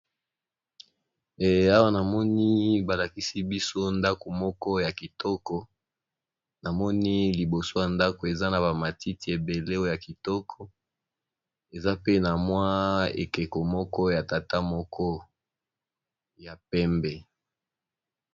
Ehh awa namoni ba lakisi biso ndako moko ya kitoko, namoni liboso ya ndako eza na ba matiti ebele oyo ha kitoko eza pe na mwa ekeko moko ya tata moko ya pembe.